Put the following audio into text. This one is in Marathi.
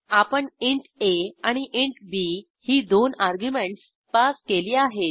आपण इंट आ आणि इंट बी ही दोन अर्ग्युमेंटस पास केली आहेत